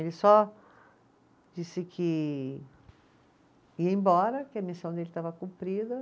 Ele só disse que ia embora, que a missão dele estava cumprida.